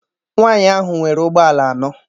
Nwaanyị ahụ nwere ụgbọala anọ.